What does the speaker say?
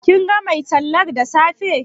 Kin ga mai tallar da safe?